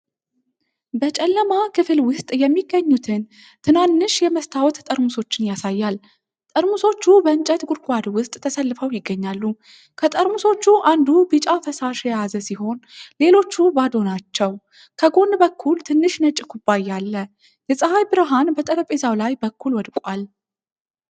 በጨለማ ክፍል ውስጥ የሚገኙትን ትናንሽ የመስታወት ጠርሙሶችን ያሳያል። ጠርሙሶቹ በእንጨት ጉድጓድ ውስጥ ተሰልፈው ይገኛሉ። ከጠርሙሶቹ አንዱ ቢጫ ፈሳሽ የያዘ ሲሆን፣ ሌሎቹ ባዶ ናቸው። ከጎን በኩል ትንሽ ነጭ ኩባያ አለ፤ የፀሐይ ብርሃን በጠረጴዛው ላይ በኩል ወድቋል።